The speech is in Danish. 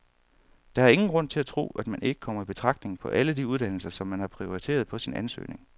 Der er ingen grund til at tro, at man ikke kommer i betragtning på alle de uddannelser, som man har prioriteret på sin ansøgning.